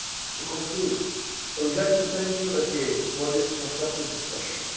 To conclude, I would like to thank you again for this constructive discussion.